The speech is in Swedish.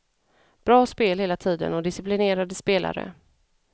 Bra spel hela tiden och disciplinerade spelare.